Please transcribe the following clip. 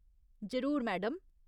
जरूर, मैडम।